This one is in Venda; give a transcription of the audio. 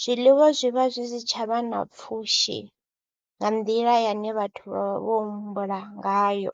zwiḽiwa zwi vha zwi si tsha vha na pfhushi nga nḓila yane vhathu vha vha vho humbula ngayo.